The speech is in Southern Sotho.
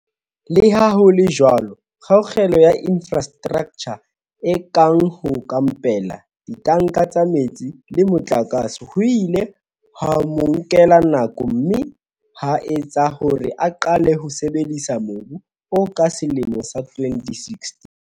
Leha ho le jwalo, kgaello ya infrastraktjha e kang ho kampela, ditanka tsa metsi le motlakase ho ile ha mo nkela nako mme ha etsa hore a qale ho sebedisa mobu oo ka selemo sa 2016.